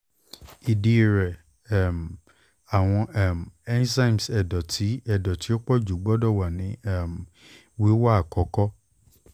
idi rẹ um awọn um enzymes ẹdọ ti ẹdọ ti o pọju gbọdọ wa ni um wiwa akọkọ